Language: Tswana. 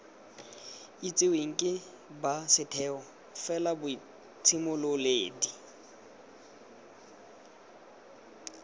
itsiweng ke ba setheo felaboitshimololedi